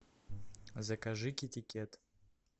закажи китикет